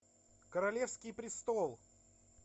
королевский престол